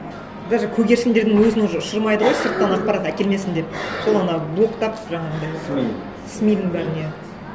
даже көгершіндердің өзін уже ұшырмайды ғой сырттан ақпарат әкелмесін деп сол ана блоктап жаңағындай сми сми дің бәрін иә